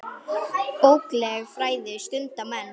Bókleg fræði stunda menn.